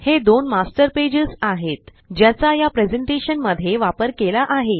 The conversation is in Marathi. हे दोन मास्टर पेजेस आहेत ज्याचा या प्रेज़ेंटेशन मध्ये वापर केला आहे